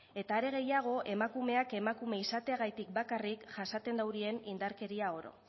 eta are gehiago emakumeak emakume izateagatik bakarrik jasaten duten indarkeria oro